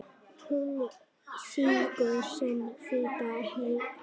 Hún sýgur sinn hvíta eitur